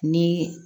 Ni